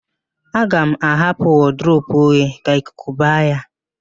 Aga m ahapụ wọdụrobu oghe ka ikuku ba ya